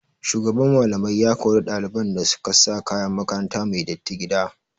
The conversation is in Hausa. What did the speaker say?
Shugaban Mallamai ya kori ɗaliban da su ka sa kayan makaranta mai datti gida.